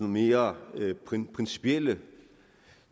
mere principielle